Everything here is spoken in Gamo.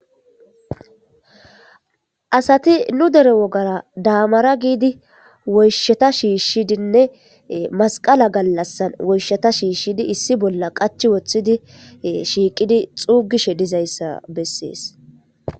Asati nu dere wogara daamara giidi woysheta shiishshidinne masqala gallassan woysheta shiishshidi issi bolla qach woththidi shiiqidi xuugishe dizayssa bessees.